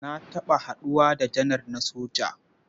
Na taɓa haɗuwa da janar na soja.